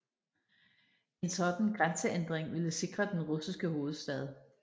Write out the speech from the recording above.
En sådan grænseændring ville sikre den russiske hovedstad